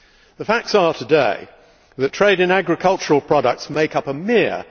The facts are today that trade in agricultural products makes up a mere